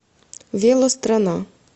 велострана